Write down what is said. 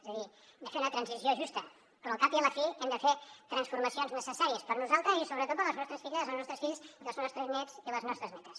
és a dir hem de fer una transició justa però al cap i a la fi hem de fer transformacions necessàries per nosaltres i sobretot per les nostres filles i els nostres fills i els nostres nets i les nostres netes